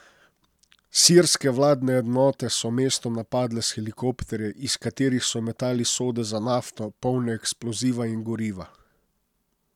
Sirske vladne enote so mesto napadle s helikopterji, iz katerih so metali sode za nafto, polne eksploziva in goriva.